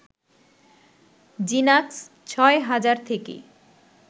জিনাক্স ৬ হাজার থেকে